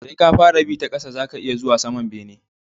Sai ka fara bi ta ƙasa zaka iya zuwa saman bene